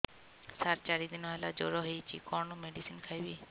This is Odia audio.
ସାର ଚାରି ଦିନ ହେଲା ଜ୍ଵର ହେଇଚି କଣ ମେଡିସିନ ଖାଇବି